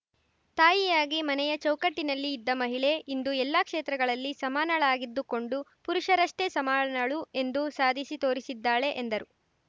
ತಾಯಿಯಾಗಿ ಮನೆಯ ಚೌಕಟ್ಟಿನಲ್ಲಿ ಇದ್ದ ಮಹಿಳೆ ಇಂದು ಎಲ್ಲಾ ಕ್ಷೇತ್ರಗಳಲ್ಲಿ ಸಮಾನಳಾಗಿದ್ದುಕೊಂಡು ಪುರುಷರಷ್ಟೇ ಸಮಾನಳು ಎಂದು ಸಾಧಿಸಿ ತೋರಿಸಿದ್ದಾಳೆ ಎಂದರು